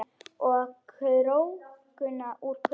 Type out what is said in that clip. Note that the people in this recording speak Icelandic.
Og að krókna úr kulda.